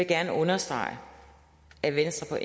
gerne understrege at venstre